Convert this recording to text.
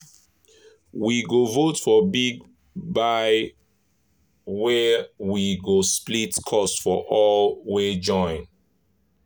we go vote for big buy weh we go split cost for all wey join.